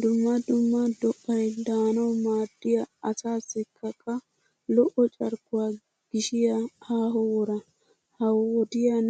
Dumma dumma do'ayi daanawu maaddiyaa asaassikka qa lo'o carkkuwaa gishshiyaa aaho wooraa. Ha wodiyaan